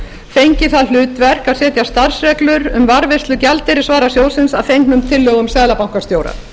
fengi það hlutverk að setja starfsreglur um varðveislu gjaldeyrisvarasjóðsins að fengnum tillögum seðlabankastjóra